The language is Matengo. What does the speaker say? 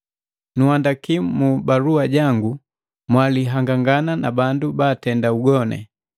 Nunhandaki mu balua jangu mwalihangangana na bandu baatenda ugoni.